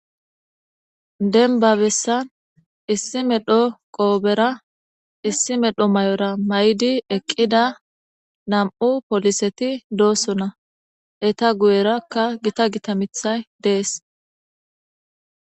Denba bessan issi medho qoobera issi medho may7ora may7di eqqida nam7u poliseti doosona eta guyerakka gita gita mithay dees